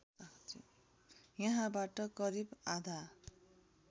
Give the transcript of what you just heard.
यहाँबाट करिब आधा